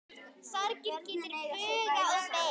Sorgin getur bugað og beygt.